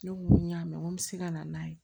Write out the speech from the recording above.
Ne ko ŋo y'a mɛn ŋo n be se ka na n'a ye